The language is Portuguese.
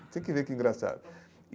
Você tem que vê que engraçado.